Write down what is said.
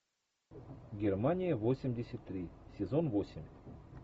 германия восемьдесят три сезон восемь